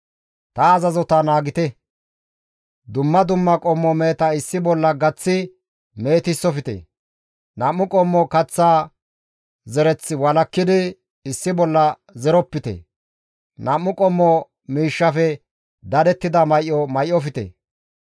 « ‹Ta azazota naagite; dumma dumma qommo meheta issi bolla gaththi mehetisofte; nam7u qommo kaththa zereth walakkidi issi bolla zeropite; nam7u qommo miishshafe dadettida may7o may7ofte.